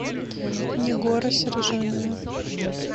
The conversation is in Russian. негора сержанина